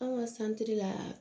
An ka la